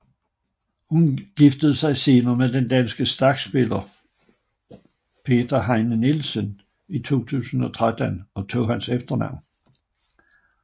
Hun giftede sig senere med den danske skakspiller Peter Heine Nielsen i 2013 og tog hans efternavn